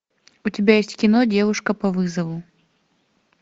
у тебя есть кино девушка по вызову